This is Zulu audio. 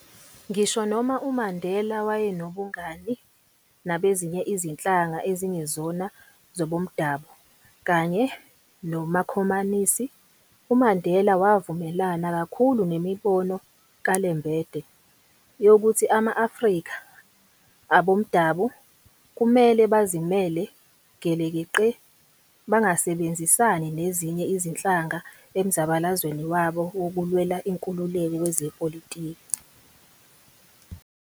Ngisho noma uMandela wayenobungani nabezinye izinhlanga ezingezona zobomdabu kanye namakhomanisi, uMandela wavumelana kakhulu nemibono kaLembede, yokuthi ama-Afrika abomdabu, kumele bazimele gelekeqe bangasebenzisani nezinye izinhlanga emzabalazweni wabo wokulwela inkululeko kwezepolitiki.